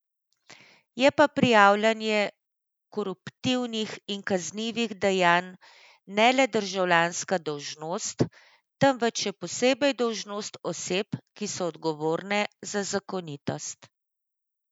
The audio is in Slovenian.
Je pa prijavljanje koruptivnih in kaznivih dejanj ne le državljanska dolžnost, temveč še posebej dolžnost oseb, ki so odgovorne za zakonitost.